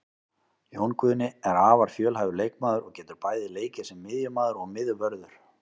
Jón Guðni er afar fjölhæfur leikmaður og getur bæði leikið sem miðjumaður og miðvörður.